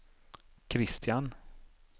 Christian